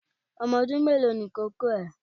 Ọmọ ọdún mélòó ni ìkókó ẹ?